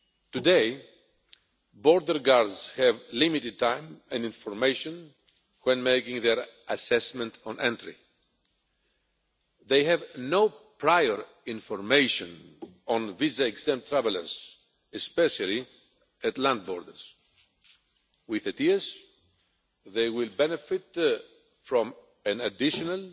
Today, border guards have limited time and information when making their assessment on entry. They have no prior information on visa exempt travellers, especially at land borders. With ETIAS they will benefit from an additional